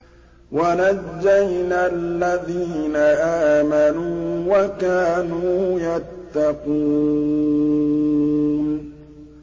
وَنَجَّيْنَا الَّذِينَ آمَنُوا وَكَانُوا يَتَّقُونَ